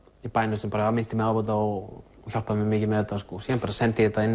í bænum sem minnti mig á þetta og hjálpaði mér mikið með þetta síðan bara sendi ég þetta inn